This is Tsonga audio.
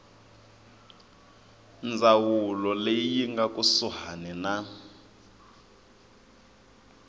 ndzawulo leyi nga kusuhani na